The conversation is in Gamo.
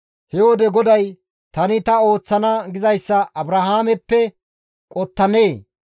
He wode GODAY, «Tani ta ooththana gizayssa Abrahaameppe qottanee?